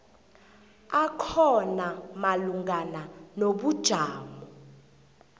akhona malungana nobujamo